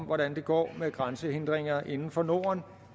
hvordan det går med grænsehindringer inden for norden